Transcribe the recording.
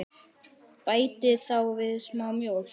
Bætið þá við smá mjólk.